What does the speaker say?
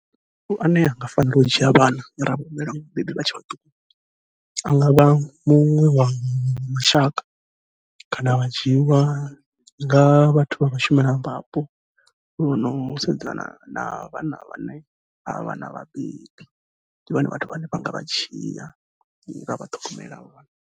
Ane a nga fanela u dzhia vhana ra vha humbela vhabebi vha tshe a ngavha muṅwe wa mashaka, kana vha dzhiiwa nga vha vhathu vha vhashumelavhapo vhono sedzana na vhana vhane avhana vhabebi, ndi vhone vhathu vhane vha nga vha dzhia vha vha ṱhogomela havha vhana.